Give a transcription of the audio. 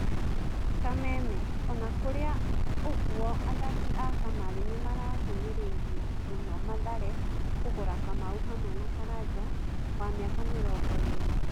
(Kameme) Ona kũrĩa ũguo athaki a kamarĩ nĩmarahinyĩrĩria mũno Mathare kũgũra Kamau hamwe na Karanja, wa mĩaka mĩrongo ĩrĩ.